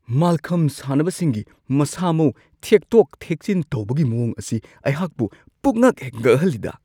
ꯃꯜꯈꯝ ꯁꯥꯟꯅꯕꯁꯤꯡꯒꯤ ꯃꯁꯥ-ꯃꯎ ꯊꯦꯛꯇꯣꯛ-ꯊꯦꯡꯆꯤꯟ ꯇꯧꯕꯒꯤ ꯃꯋꯣꯡ ꯑꯁꯤ ꯑꯩꯍꯥꯛꯄꯨ ꯄꯨꯛꯉꯛꯍꯦꯛ -ꯉꯛꯍꯜꯂꯤꯗꯥ !